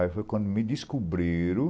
Aí foi quando me descobriram